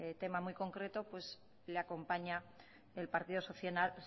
tema muy concreto pues le acompaña el partido